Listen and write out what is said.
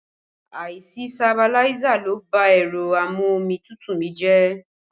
Àìsí sabiláísà ló bá ẹ̀rọ a-mú-omi-tútù mi jẹ́